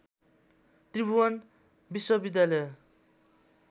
त्रिभुवन विश्व विद्यालय